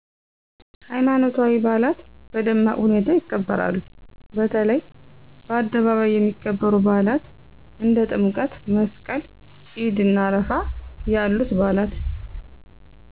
ሀይማኖታዊ በአላት በደማቅ ሁኔታ ይከበራሉ በተለይ በአደባባይ የሚከበሩ በአላት እንደ ጥምቀት/መስቀል /ኢድእና አረፋ ያሉት በአላት